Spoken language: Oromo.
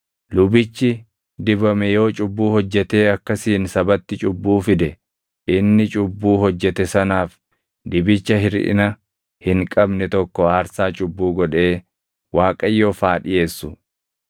“ ‘Lubichi dibame yoo cubbuu hojjetee akkasiin sabatti cubbuu fide, inni cubbuu hojjete sanaaf dibicha hirʼina hin qabne tokko aarsaa cubbuu godhee Waaqayyoof haa dhiʼeessu.